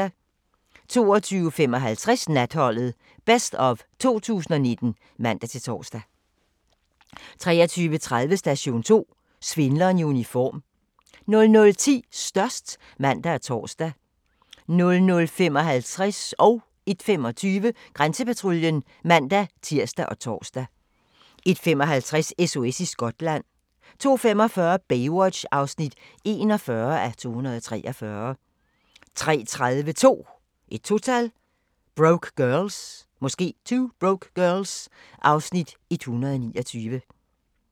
22:55: Natholdet - best of 2019 (man-tor) 23:30: Station 2: Svindleren i uniform 00:10: Størst (man og tor) 00:55: Grænsepatruljen (man-tir og tor) 01:25: Grænsepatruljen (man-tir og tor) 01:55: SOS i Skotland 02:45: Baywatch (41:243) 03:30: 2 Broke Girls (Afs. 129)